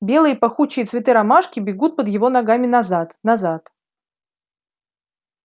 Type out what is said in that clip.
белые пахучие цветы ромашки бегут под его ногами назад назад